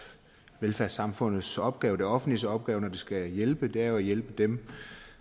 velfærdssamfundets opgave det offentliges opgave når det skal hjælpe er at hjælpe dem